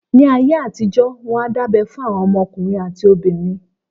Níí ayé àtijó, wọ́n á dábẹ́ fún àwọn ọmọ ọkùnrin àti obìnrin.